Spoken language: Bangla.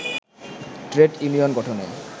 ট্রেড ইউনিয়ন গঠনে